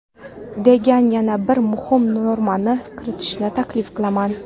degan yana bir muhim normani kiritishni taklif qilaman.